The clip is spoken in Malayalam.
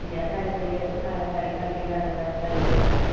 ഇനി ആ താരത്തിന് കളത്തിലിറങ്ങാൻ കഴിയില്ലല്ലോ. അല്ലെ?